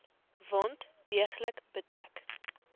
wond deeglik bedek